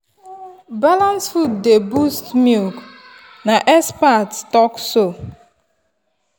balanced food dey boost milk na expert talk so.